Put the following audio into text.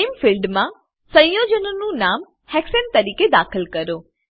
name ફિલ્ડમાં સંયોજનનું નામ હેક્સાને તરીકે દાખલ કરો